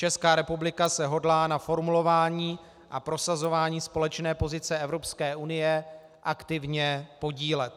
Česká republika se hodlá na formulování a prosazování společné pozice Evropské unie aktivně podílet.